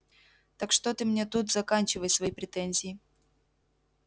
так что ты мне тут заканчивай свои претензии